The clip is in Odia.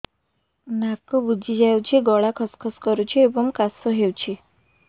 ନାକ ବୁଜି ଯାଉଛି ଗଳା ଖସ ଖସ କରୁଛି ଏବଂ କାଶ ହେଉଛି